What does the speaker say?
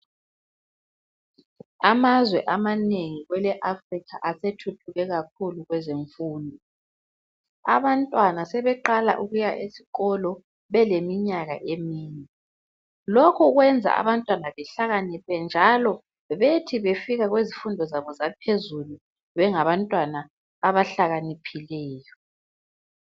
Amazwe amanengi kwele Africa asethuthuke kakhulu kwezemfundo. Abantwana sebeqala ukuya esikolo belemimyaka emine. Lokhu kwenza abantwana behlakaniphe, njalo bethi befika kwezifundo zabo zaphezulu bengabantwana abahlakaniphileyo.